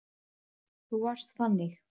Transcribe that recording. Þú varst þannig.